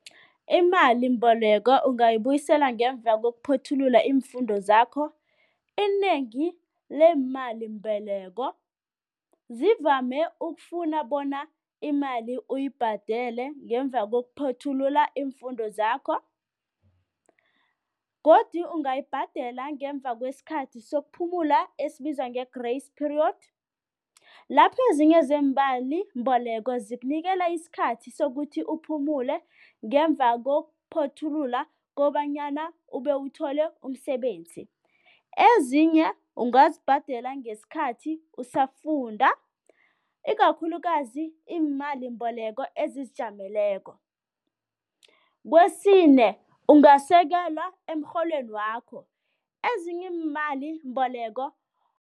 Imalimbeleko ungayibuyisela ngemva kokuphothulula iimfundo zakho. Inengi leemalimboleko zivame ukufuna bona imali uyibhadele ngemva kokuphothulula iimfundo zakho godu ungayibhadela ngemva kwesikhathi sokuphumula esibizwa nge-grace period. Lapho ezinye zeemalimboleko zikunikela isikhathi sokuthi uphumule ngemva kokuphothulula kobanyana ube uthole umsebenzi, ezinye ungazibhadela ngesikhathi usafunda ikakhulukazi iimalimbeleko ezizijameleko. Kwesine, ungasekelwa emrholweni wakho. Ezinye imalimboleko.